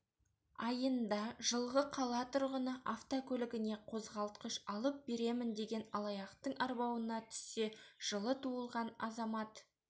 айында жылғы қала тұрғыны автокөлігіне қозғалтқыш алып беремін деген алаяқтың арбауына түссе жылы туылған азамат